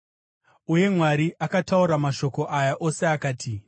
Uye Mwari akataura mashoko aya ose akati: